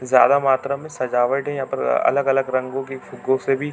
ज्यादा मात्रा में सजावटे है यहाँ पर अलग-अलग रंगो की फुग्गो से भी--